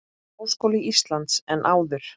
Háskóla Íslands en áður.